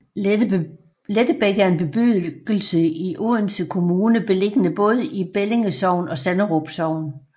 Lettebæk er en bebyggelse i Odense Kommune beliggende både i Bellinge Sogn og Sanderum Sogn